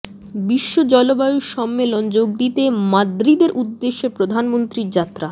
বিশ্ব জলবায়ু সম্মেলনে যোগ দিতে মাদ্রিদের উদ্দেশে প্রধানমন্ত্রীর যাত্রা